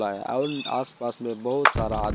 और आस पास में बहुत सारा आदमी--